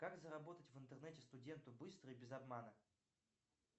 как заработать в интернете студенту быстро и без обмана